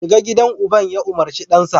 shiga gidan uban ya umarci dansa